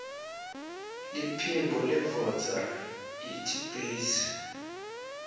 liphimbo lendvodza yiytbase